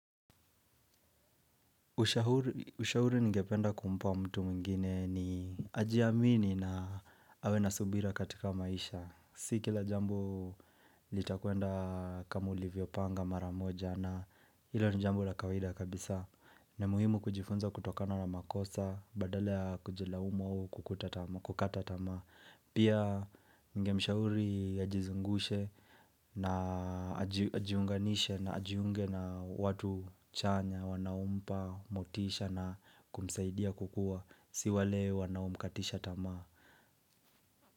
Ushahuri ni ngependa kumpa mtu mwigine ni ajiamini na awe nasubira katika maisha. Si kila jambo litakwenda kama ulivyo panga maramoja na liwe ni jambo la kawida kabisa. Na muhimu kujifunza kutokana na makosa, badala kujilaumu kwa kukata tamaa. Pia ninge mshauri ajizungushe na ajiunganishe na ajiungue na watu chanya, wanaompa, motisha na kumsaidia kukua. Si wale wanaomkatisha tamaa.